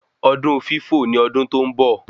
Ọdún fífò ni ọdún tó ń bọ̀